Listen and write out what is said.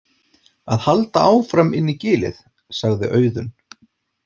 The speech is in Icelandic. Að halda áfram inn í gilið, sagði Auðunn.